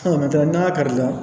n'a kari la